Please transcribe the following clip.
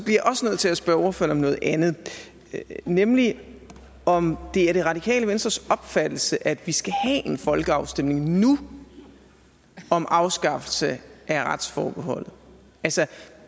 nødt til at spørge ordføreren om noget andet nemlig om det er det radikale venstres opfattelse at vi skal have en folkeafstemning nu om afskaffelse af retsforbeholdet altså